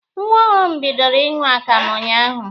Nwa ọhụrụ m bidoro ịṅụ akamụ unyaahụ.